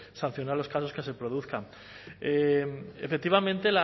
sancionar los casos que se produzcan efectivamente